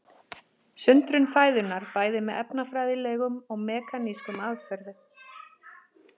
Sundrun fæðunnar bæði með efnafræðilegum og mekanískum aðferðum.